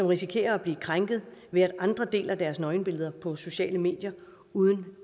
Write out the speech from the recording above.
risikerer at blive krænket ved at andre deler deres nøgenbilleder på sociale medier uden